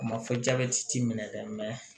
A ma fɔ jabɛti t'i minɛ dɛ